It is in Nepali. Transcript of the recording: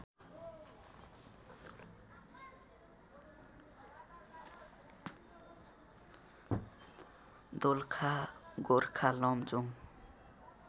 दोलखा गोरखा लमजुङ्ग